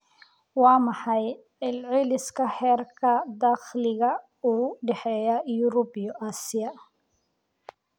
waa maxay celceliska heerka dakhliga u dhexeeya Yurub iyo Aasiya